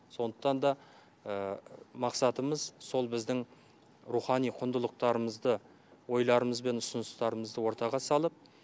сондықтан да мақсатымыз сол біздің рухани құндылықтарымызды ойларымыз бен ұсыныстарымызды ортаға салып